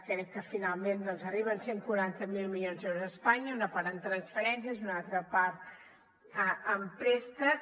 crec que finalment doncs arriben cent i quaranta miler milions d’euros a espanya una part en transferències i una altra part en préstec